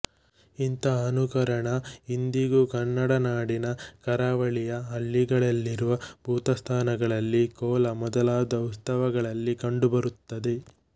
ಇಂಥ ಅನುಕರಣ ಇಂದಿಗೂ ಕನ್ನಡನಾಡಿನ ಕರಾವಳಿಯ ಹಳ್ಳಿಗಳಲ್ಲಿರುವ ಭೂತಸ್ಥಾನಗಳಲ್ಲಿ ಕೋಲ ಮೊದಲಾದ ಉತ್ಸವಗಳಲ್ಲಿ ಕಂಡುಬರುತ್ತದೆ